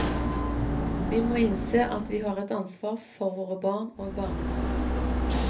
Vi må innse at vi har et ansvar for våre barn og barnebarn.